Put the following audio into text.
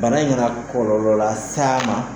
Bana kana kɔlɔlɔ lase a ma